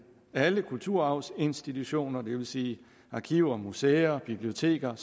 alle kulturarvsinstitutioner det vil sige arkiver museer biblioteker